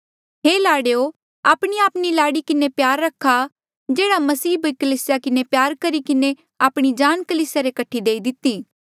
हे लाड़ेयो आपणीआपणी लाड़ी किन्हें प्यार रखा जेह्ड़ा मसीहे भी कलीसिया किन्हें प्यार करी किन्हें आपणी जान कलीसिया रे कठे देई दिती